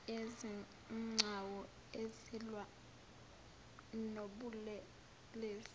yezigcawu ezilwa nobulelesi